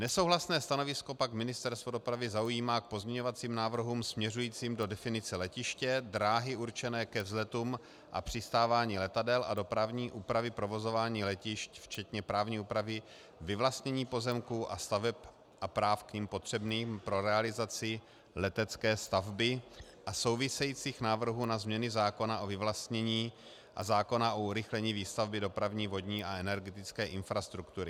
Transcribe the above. Nesouhlasné stanovisko pak Ministerstvo dopravy zaujímá k pozměňovacím návrhům směřujícím do definice letiště, dráhy určené ke vzletům a přistávání letadel a dopravní úpravy provozování letišť včetně právní úpravy vyvlastnění pozemků a staveb a práv k nim potřebným pro realizaci letecké stavby a souvisejících návrhů na změny zákona o vyvlastnění a zákona o urychlení výstavby dopravní, vodní a energetické infrastruktury.